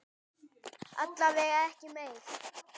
Alla vega ekki meir.